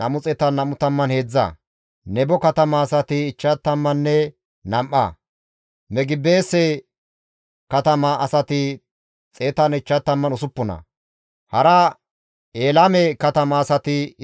Di7eteththafe simmida Lewe zareti hayssafe kaalli dizayta; Hoddayeppe gidida Iyaasonne Qadim7eele zereththati 74,